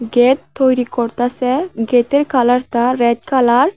Gate তৈরি করতাসে গেটের কালারতা রেড কালার ।